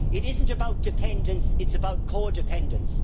It isn't about dependence, it is about co dependence.